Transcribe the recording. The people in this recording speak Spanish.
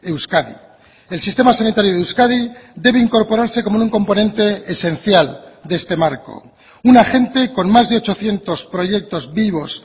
euskadi el sistema sanitario de euskadi debe incorporarse como un componente esencial de este marco un agente con más de ochocientos proyectos vivos